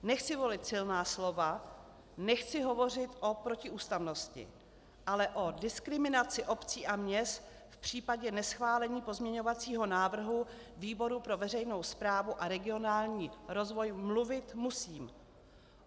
Nechci volit silná slova, nechci hovořit o protiústavnosti, ale o diskriminací obcí a měst v případě neschválení pozměňovacího návrhu výboru pro veřejnou správu a regionální rozvoj mluvit musím.